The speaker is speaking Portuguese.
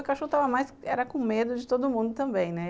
O cachorro estava mais... era com medo de todo mundo também, né?